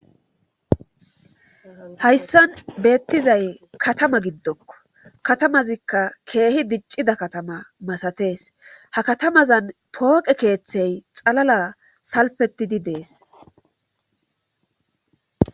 Hayssan beettizay katama giddokko katamazikka keehi diccida katama masatees ha katamazan pooqe keeththey xalala salpetidi dees.